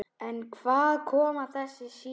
En hvaðan koma þessar sýrur?